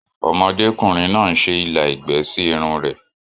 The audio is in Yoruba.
Ọmọdé kùnrin náà ń se ilà ẹ̀gbẹ́ sí Irun rẹ̀